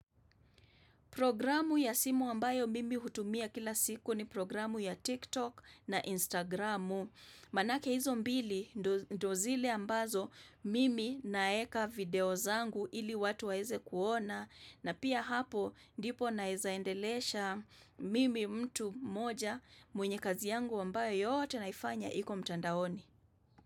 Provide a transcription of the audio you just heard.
Programu ya simu ambayo mimi hutumia kila siku ni programu ya TikTok na Instagramu. Manake hizo mbili ndo zile ambazo mimi naweka video zangu ili watu waeze kuona na pia hapo ndipo naweza endelesha mimi mtu moja mwenye kazi yangu ambayo yote naifanya hiko mtandaoni.